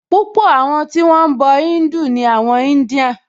Púpọ̀ àwọn tí wọ́n ń bọ̀ Híńdù ni àwọn India